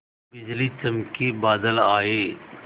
बिजली चमकी बादल आए